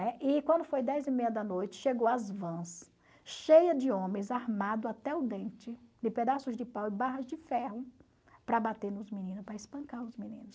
Né? E quando foi dez e meia da noite, chegou as vans cheias de homens armados até o dente, de pedaços de pau e barras de ferro, para bater nos meninos, para espancar os meninos.